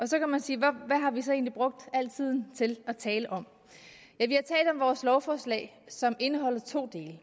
så kan man sige hvad har vi så egentlig brugt al tiden til at talt om vores lovforslag som indeholder to dele